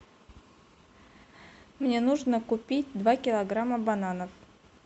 мне нужно купить два килограмма бананов